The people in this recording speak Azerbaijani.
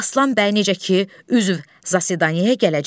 Aslan bəy necə ki, üzv zasidanyaya gələcək.